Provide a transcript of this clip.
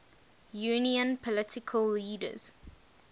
union political leaders